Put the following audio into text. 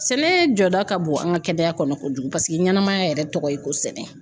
Sɛnɛ jɔda ka bon an ka kɛnɛya kɔnɔ kojugu paseke ɲɛnamaya yɛrɛ tɔgɔ ye ko sɛnɛ